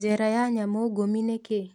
Njera ya nyamũngumĩ nĩ kĩĩ?